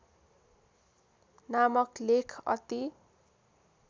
नामक लेख अति